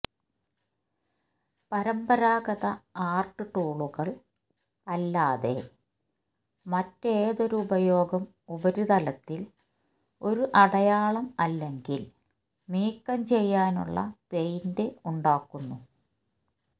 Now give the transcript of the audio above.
പരമ്പരാഗത ആർട്ട് ടൂളുകൾ അല്ലാതെ മറ്റേതൊരു ഉപയോഗം ഉപരിതലത്തിൽ ഒരു അടയാളം അല്ലെങ്കിൽ നീക്കം ചെയ്യാനുള്ള പെയിന്റ് ഉണ്ടാക്കുന്നു